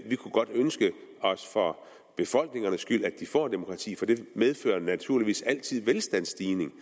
vi kunne godt ønske os for befolkningernes skyld at de får demokrati for det medfører naturligvis altid velstandsstigning